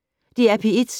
DR P1